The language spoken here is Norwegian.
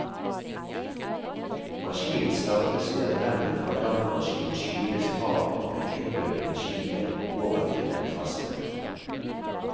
Maskinen startes ved at remmen fra dampmaskinen skyves fra den frittløpende skiven over til den faste.